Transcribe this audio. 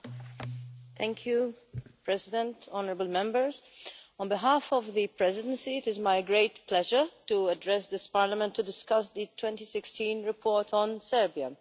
Madam President, honourable Members, on behalf of the Presidency it is my great pleasure to address this Parliament to discuss the 2016 report on Serbia.